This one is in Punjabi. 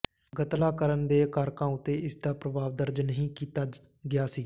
ਗਤਲਾ ਕਰਨ ਦੇ ਕਾਰਕਾਂ ਉੱਤੇ ਇਸ ਦਾ ਪ੍ਰਭਾਵ ਦਰਜ ਨਹੀਂ ਕੀਤਾ ਗਿਆ ਸੀ